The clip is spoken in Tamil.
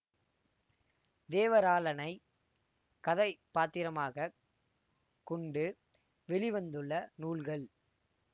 தேவராளனை கதைபாத்திரமாக கொண்டு வெளி வந்துள்ள நூல்கள்